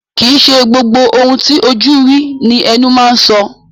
Kìí ṣe gbogbo ohun ti ojú rí ní ẹnu máa ń so.